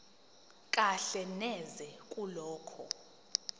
kahle neze kulokho